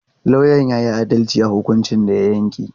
Lauyan ya yi adalci a hukuncin da ya yanke.